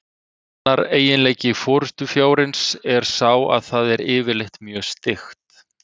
Annar eiginleiki forystufjárins er sá að það er yfirleitt mjög styggt.